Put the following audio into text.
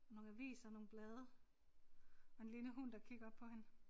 Nogle aviser og nogle blade og en lille hund der kigger op på hende